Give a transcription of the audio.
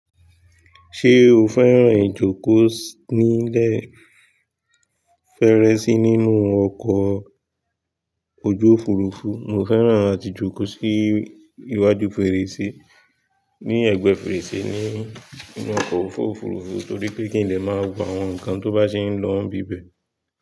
Ṣé o fẹ́ràn ìjókòó nílẹ̀ fèrè si nínú ọkọ̀ ojú Òfurufú? Mo fẹ́ràn àti jókòó sí iwájú fèrèsé, ní ẹ̀gbẹ́ fèrèsé ní ínú ọkọ̀ oju Òfurufú torí pé kí n lè máa wo àwọn nǹkan tó bá ṣe ń lọ n bíbẹ̀.